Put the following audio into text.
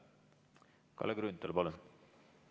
Kalle Grünthal, palun!